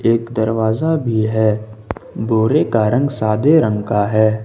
एक दरवाजा भी है बोरे का रंग सादे रंग का हैं।